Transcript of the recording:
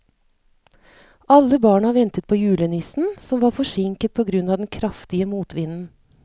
Alle barna ventet på julenissen, som var forsinket på grunn av den kraftige motvinden.